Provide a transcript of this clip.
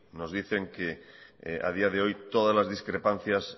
nos dicen que a día de hoy todas las discrepancias